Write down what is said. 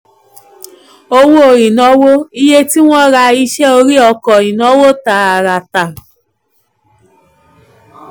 owó ìnáwó: iye tí wọ́n rà iṣẹ́ orí ọkọ̀ ìnáwó tààràtà.